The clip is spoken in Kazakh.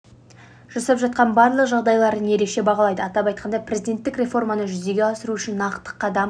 жасап жатқан барлық жағдайларын ерекше бағалайды атап айтқанда президенттік реформаны жүзеге асыру үшін нақты қадам